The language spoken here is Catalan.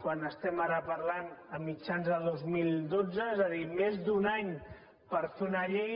quan estem ara parlant a mitjans de dos mil dotze és a dir més d’un any per fer una llei